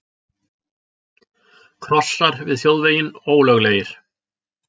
Krossar við þjóðveginn ólöglegir